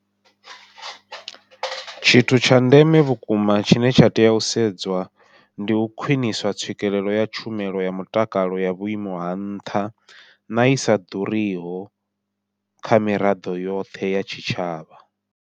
Tshithu tsha ndeme vhukuma tshine tsha tea u sedzwa ndi u khwiṋiswa tswikelelo ya tshumelo ya mutakalo ya vhuimo ha nṱha na isa ḓuriho kha miraḓo yoṱhe ya tshitshavha.